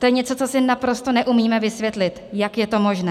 To je něco, co si naprosto neumíme vysvětlit, jak je to možné.